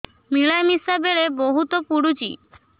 ମିଳାମିଶା ବେଳେ ବହୁତ ପୁଡୁଚି